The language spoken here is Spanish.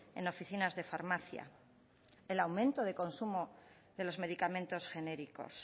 en oficinas de farmacia el aumento de consumo de los medicamentos genéricos